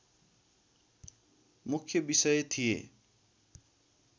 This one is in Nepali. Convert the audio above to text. मुख्य विषय थिए।